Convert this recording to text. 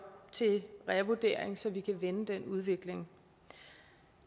til revurdering så vi kan vende den udvikling